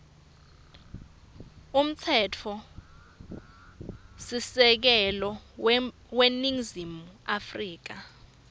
umtsetfosisekelo weningizimu afrika